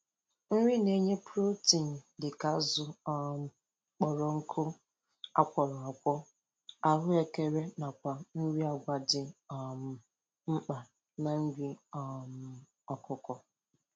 Nri na-enye protein dịka azụ um kpọrọ nkụ akworọ akwo, ahụekere nakwa nri agwa dị um mkpa na nri um ọkụkọ